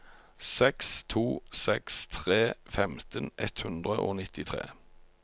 seks to seks tre femten ett hundre og nittitre